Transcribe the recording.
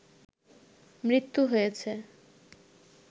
মৃত্যু হয়েছে